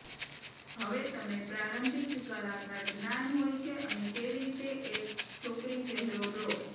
હવે તમે પ્રારંભિક કલાકાર જ્ઞાન હોય છે અને કેવી રીતે એક છોકરી ચહેરો ડ્રો